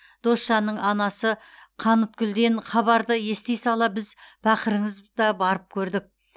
досжанның анасы қаныткүлден хабарды ести сала біз пақырыңыз да барып көрдік